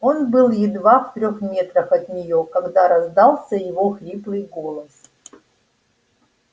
он был едва в трёх метрах от неё когда раздался его хриплый голос